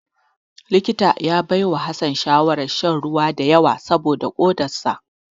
Likita ya baiwa Hassan shawarar shan ruwa da yawa saboda kodar sa.